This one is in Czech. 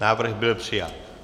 Návrh byl přijat.